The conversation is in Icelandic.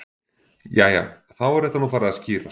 Jæja. þá er þetta nú farið að skýrast.